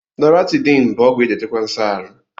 Loratiday bụ ọgwụ eji achịkwa nso aru